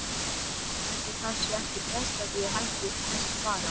Ætli það sé ekki best að ég hætti þessu bara.